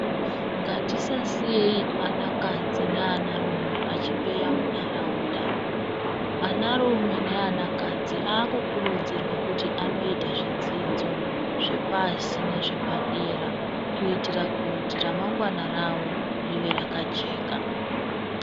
Ngatisasiyeyi anakadzi neanarume achimbeya munharaunda, anarume neanakadzi akukurudzirwa kuti anoyita zvidzidzo zvepashi nezvepadera, kuyitira kuti remangwana ravo rive rakajeka.